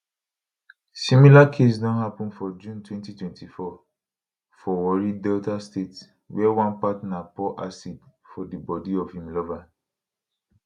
similar case don happun for june 2024 for warri delta state wia one partner pour acid for di bodi of im lover